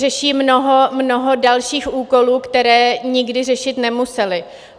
Řeší mnoho dalších úkolů, které nikdy řešit nemuseli.